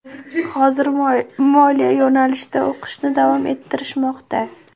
Hozir moliya yo‘nalishida o‘qishni davom ettirishmoqda.